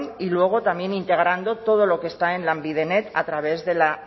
y luego también integrando todo lo que está en lanbidenet a través de la